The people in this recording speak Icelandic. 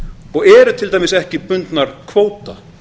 og eru til dæmis ekki bundnar kvóta